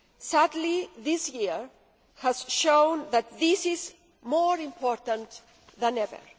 Sadly, this year has shown that this is more important than ever.